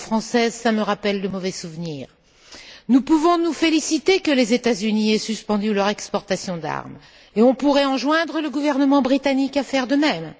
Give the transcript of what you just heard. en tant que Française, cela me rappelle de mauvais souvenirs. Nous pouvons nous féliciter que les États Unis aient suspendu leurs exportations d'armes et nous pourrions enjoindre le gouvernement britannique à faire de même.